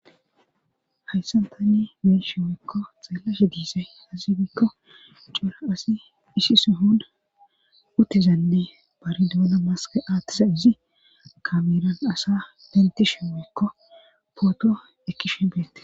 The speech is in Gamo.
hayssantanni be'ashe woykko xaellashe diise hasibikko cuura asi isi suhun uttezanne baridooda maske aattisa izi kamiran asa denti shiwikko poodo ekki shimbeette